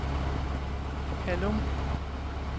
Hallum